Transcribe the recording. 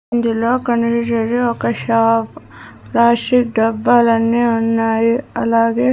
ఇందులో కనిపిచ్చేది ఒక షాప్ ప్లాస్టిక్ డబ్బాలన్నీ ఉన్నాయి అలాగే.